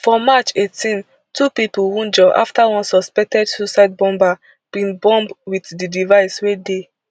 for march eighteen two pipo wunjure afta one suspected suicide bomber bin bomb wit di device wey dey